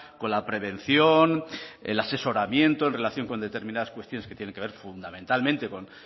con la prevención el asesoramiento en relación con determinadas cuestiones que tienen que ver fundamentalmente con